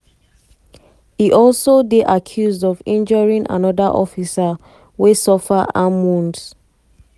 e also dey accused of injuring anoda officer wey suffer arm wounds.